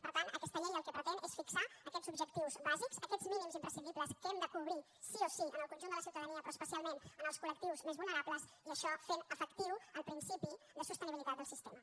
per tant aquesta llei el que pretén és fixar aquests objectius bàsics aquests mínims imprescindibles que hem de cobrir sí o sí en el conjunt de la ciutadania però especialment en els col·lectius més vulnerables i això fent efectiu el principi de sostenibilitat del sistema